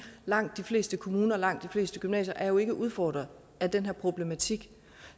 langt de fleste kommuner og langt de fleste gymnasier er jo ikke udfordret af den her problematik